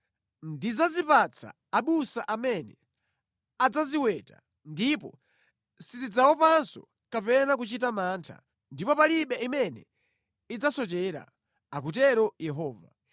Ndidzazipatsa abusa amene adzaziweta, ndipo sizidzaopanso kapena kuchita mantha, ndipo palibe imene idzasochera,” akutero Yehova.